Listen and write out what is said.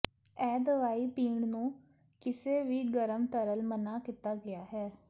ਇਹ ਦਵਾਈ ਪੀਣ ਨੂੰ ਕਿਸੇ ਵੀ ਗਰਮ ਤਰਲ ਮਨ੍ਹਾ ਕੀਤਾ ਗਿਆ ਹੈ